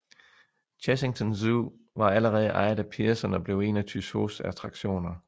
Chessington Zoo var allerede ejet af Pearson og blev en af Tussauds attraktioner